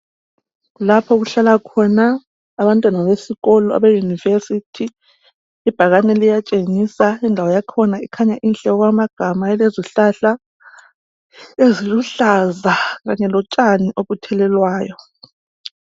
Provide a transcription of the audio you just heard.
Lapha okuhlala khona abantwana besikolo se University ibhakane liyatshengisa indawo yakhona kukhanya inhle okwamagama ilezihlahla eziluhlaza Kanye lotshani obuthelelwayo.